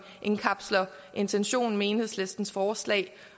indkapsler intentionen med enhedslistens forslag